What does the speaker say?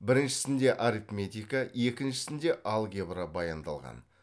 біріншісінде арифметика екіншісінде алгебра баяндалған